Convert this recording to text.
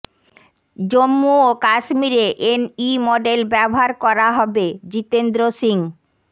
জম্মু ও কাশ্মীরে NE model ব্যবহার করা হবেঃ জিতেন্দ্ৰ সিং